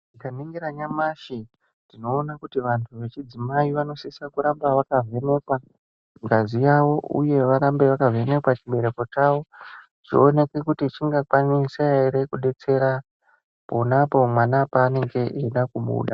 Tikaningira nyamashi tinoona kuti vantu vechidzimai vanositsa kuramba vaivhenekwa ngazi yavo uye varambe vakavhenekwa chibereko chavo zvionekwe kuti chingakwanisa ere kudetsere ponapo mwana paanenge eida kubuda.